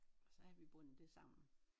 Så havde vi bundet det sammen